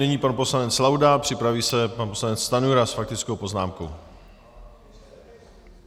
Nyní pan poslanec Laudát, připraví se pan poslanec Stanjura s faktickou poznámkou.